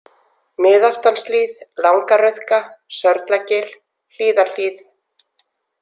Miðaftanshlíð, Langa-Rauðka, Sörlagil, Hlíðarhlíð